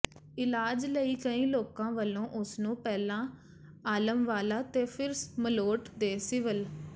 ਇਲਾਜ ਲਈ ਲੋਕਾਂ ਵੱਲੋਂ ਉਸਨੂੰ ਪਹਿਲਾਂ ਆਲਮਵਾਲਾ ਤੇ ਫਿਰ ਮਲੋਟ ਦੇ ਸਿਵਲ